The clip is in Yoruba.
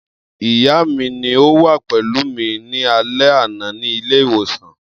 Iya mi ni o wa pẹlu mi ni alẹ ana ni ile-iwosan.